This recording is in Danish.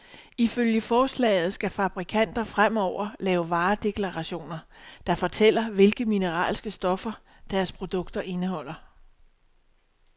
Ifølge forslaget skal fabrikanter fremover lave varedeklarationer, der fortæller, hvilke mineralske stoffer, deres produkteter indeholder.